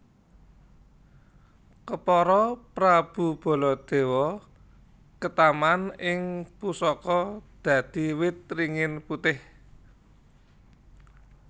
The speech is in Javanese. Kepara Prabu Baladewa ketaman ing pusaka dadi wit ringin putih